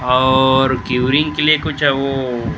और क्वेरींग के लिए कुछ वो --